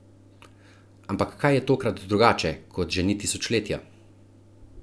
Ampak kaj je tokrat drugače, kot že ni tisočletja?